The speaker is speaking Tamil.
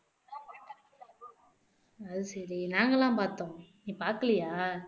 அது சரி நாங்கலாம் பார்த்தோம் நீ பாக்கலையா